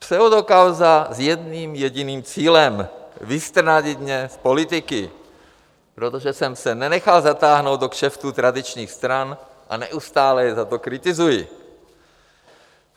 Pseudokauza s jedním jediným cílem: vystrnadit mě z politiky, protože jsem se nenechal zatáhnout do kšeftů tradičních stran a neustále je za to kritizuji.